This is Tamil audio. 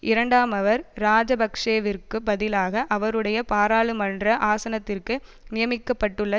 இரண்டாமவர் இராஜபக்ஷவிற்குப் பதிலாக அவருடைய பாராளுமன்ற ஆசனத்திற்கு நியமிக்கப்பட்டுள்ள